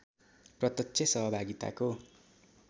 प्रत्यक्ष सहभागिताको